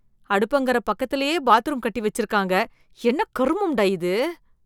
அடுப்பங்கர பக்கத்திலேயே பாத்ரூம் கட்டி வச்சிருக்காங்க என்ன கருமம்டா இது!